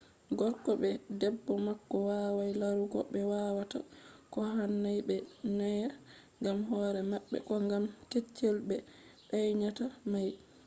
gorko be debbo mako wawai larugo ɓe wawata ko hanai ɓe danya gam hore maɓɓe ko gam keccel ɓe danyata mai